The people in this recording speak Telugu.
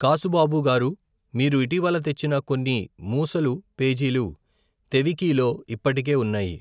కాసుబాబు గారూ మీరు ఇటీవల తెచ్చిన కొన్ని మూసలు పేజీలు తెవికీలో ఇప్పటికే ఉన్నాయి.